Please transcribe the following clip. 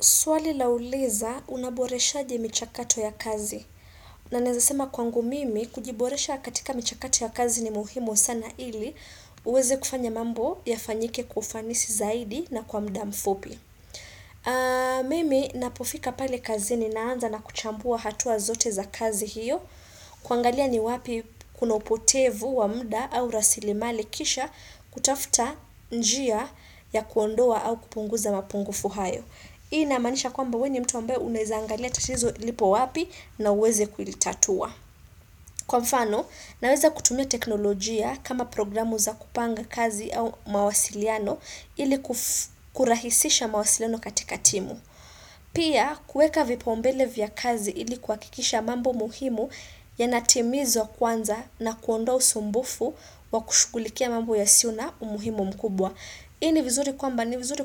Swali lauliza unaboreshaje michakato ya kazi? Naweza sema kwangu mimi, kujiboresha katika mchakato ya kazi ni muhimu sana ili, uweze kufanya mambo yafanyike kwa ufanisi zaidi na kwa muda mfupi. Mimi napofika pale kazini naanza na kuchambua hatua zote za kazi hiyo. Kuangalia ni wapi kuna upotevu wa muda au rasilimali kisha kutafuta njia ya kuondoa au kupunguza mapungufu hayo. Hii inamaanisha kwamba wewe ni mtu ambaye unaweza angalia tatizo lipo wapi na uweze kuilitatua. Kwa mfano, naweza kutumia teknolojia kama programu za kupanga kazi au mawasiliano ili kurahisisha mawasiliano katika timu. Pia, kuweka vipaumbele vya kazi ili kuhakikisha mambo muhimu yanatimizwa kwanza na kuondoa usumbufu wa kushugulikia mambo yasiuna umuhimu mkubwa. Hii ni vizuri